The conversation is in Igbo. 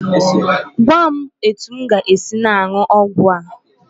Gwa m etu m ga-esi na-aṅụ ọgwụ a.